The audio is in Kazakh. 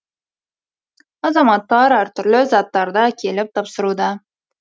азаматтар әр түрлі заттарды әкеліп тапсыруда